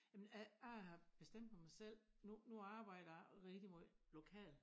Jamen jeg har bestemt med mig selv nu nu arbejder jeg rigtig meget lokalt